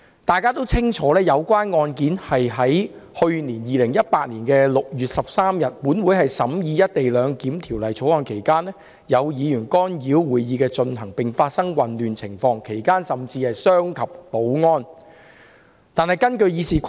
大家也清楚知道，有關案件發生在去年2018年6月13日，立法會審議《廣深港高鐵條例草案》期間，有議員干擾會議的進行，並發生混亂情況，其間甚至傷及保安人員。